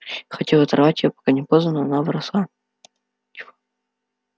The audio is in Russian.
хотел оторвать её пока не поздно но она вросла